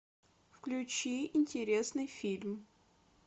включи интересный фильм